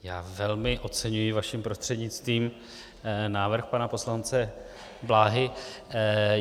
Já velmi oceňuji vaším prostřednictvím návrh pana poslance Bláhy.